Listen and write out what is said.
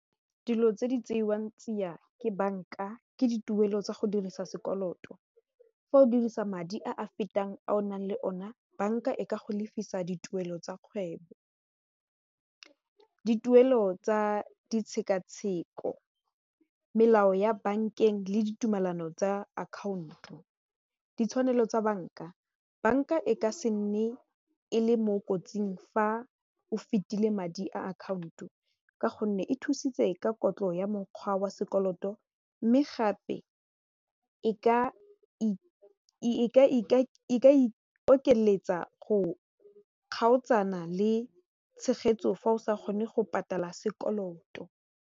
Dilo tse di tseiwang tsia me banka ke dituelo tsa go dirisa sekoloto fa o dirisa madi a a fetang a o nang le one banka e ka go lefisa dituelo tsa kgwebo, dituelo tsa ditshekatsheko melao, ya bankeng le ditumelano tsa account-o ditshwanelo tsa banka, banka e ka se nne e le mo kotsing fa o fetile madi a account o ka gonne e thusitse ka kotlo ya mokgwa wa sekoloto mme gape e ka ikokeletsa go kgaotsana le tshegetso fa o sa kgone go patala sekoloto.